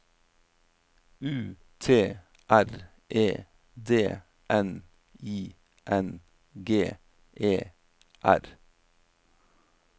U T R E D N I N G E R